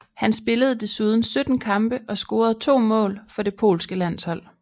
Han spillede desuden 17 kampe og scorede to mål for det polske landshold